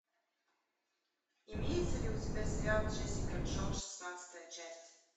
имеется ли у тебя сериал джессика джонс шестнадцатая часть